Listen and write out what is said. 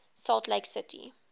salt lake city